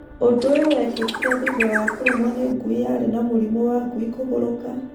Ũndũ ũyũ wekĩkire thutha wa kũrũmuo nĩ ngui yarĩ na mũrimũ wangui kũgũrũka